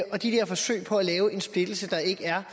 og de der forsøg på at lave en splittelse der ikke er